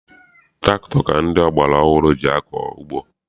Tụrakịtọ ka ndị ọgbara ọhụrụ ji akọ ugbo.